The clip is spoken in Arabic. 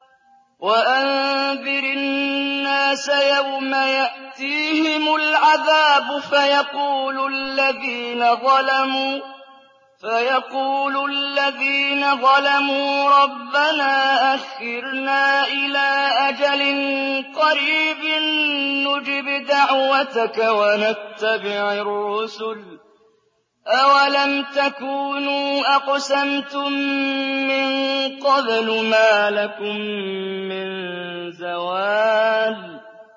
وَأَنذِرِ النَّاسَ يَوْمَ يَأْتِيهِمُ الْعَذَابُ فَيَقُولُ الَّذِينَ ظَلَمُوا رَبَّنَا أَخِّرْنَا إِلَىٰ أَجَلٍ قَرِيبٍ نُّجِبْ دَعْوَتَكَ وَنَتَّبِعِ الرُّسُلَ ۗ أَوَلَمْ تَكُونُوا أَقْسَمْتُم مِّن قَبْلُ مَا لَكُم مِّن زَوَالٍ